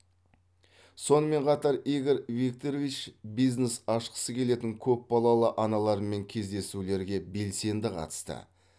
сонымен қатар игорь викторович бизнес ашқысы келетін көпбалалы аналармен кездесулерге белсенді қатысты